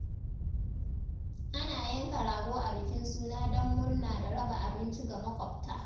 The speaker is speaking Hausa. Ana yanka rago a bikin suna don murna da raba abinci ga maƙwabta.